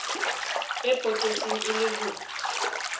e potetseng e le ho